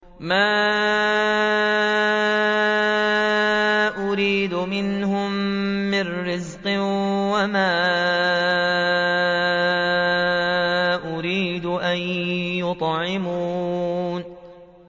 مَا أُرِيدُ مِنْهُم مِّن رِّزْقٍ وَمَا أُرِيدُ أَن يُطْعِمُونِ